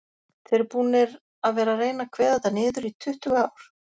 Þið eruð búnir að vera reyna að kveða þetta niður í tuttugu ár?